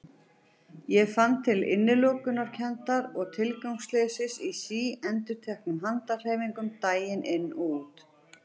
Ég fann til innilokunarkenndar og tilgangsleysis í síendurteknum handahreyfingum daginn út og inn.